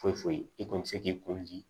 Foyi foyi i kɔni bɛ se k'i koji